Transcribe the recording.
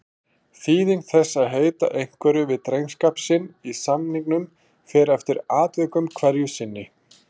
Þýðing þess að heita einhverju við drengskap sinn í samningum fer eftir atvikum hverju sinni.